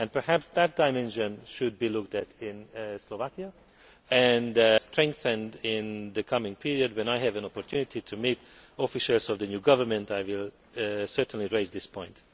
Perhaps that dimension should be looked at in Slovakia and strengthened in the coming period. When I have an opportunity to meet officials of the new government I will certainly raise this point.